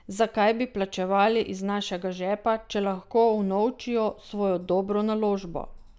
Zakaj bi plačevali iz našega žepa, če lahko unovčijo svojo dobro naložbo?